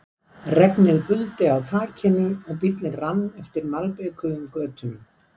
Regnið buldi á þakinu og bíllinn rann eftir malbikuðum götunum.